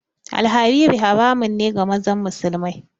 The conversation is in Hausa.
Alhariri haramun ne ga mazan musulamai